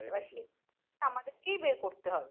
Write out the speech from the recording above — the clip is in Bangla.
আমাদের কেই বের করতে হবে